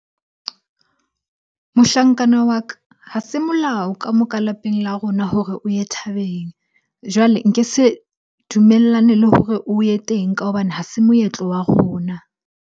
Mohlankana wa ka, ha se molao ka moo ka lapeng la rona hore o ye thabeng. Jwale nke se dumellane le hore o ye teng ka hobane ha se moetlo wa rona.